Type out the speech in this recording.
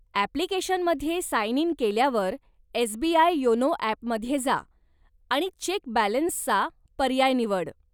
ॲप्लिकेशनमध्ये sign in केल्यावर SBI YONO ॲपमध्ये जा आणि चेक बॅलेन्सचा पर्याय निवड.